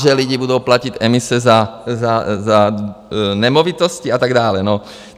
Že lidi budou platit emise za nemovitosti a tak dále.